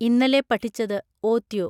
ഇന്നലെ പഠിച്ചത് ഓത്യോ